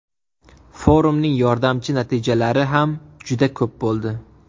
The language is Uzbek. Forumning yordamchi natijalari ham juda ko‘p bo‘ldi.